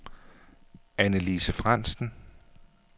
Annelise Frandsen